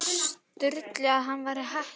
Sturlu að hann væri hættur að yrkja.